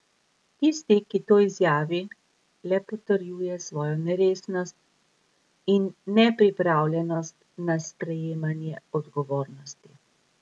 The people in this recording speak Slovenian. Tisti, ki to izjavi, le potrjuje svojo neresnost in nepripravljenost na sprejemanje odgovornosti.